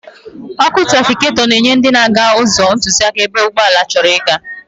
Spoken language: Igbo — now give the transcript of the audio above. Ọ́kụ́ trafịketọ na-enye ndị na-aga ụzọ ntụziaka ebe ụgbọala chọrọ ịga.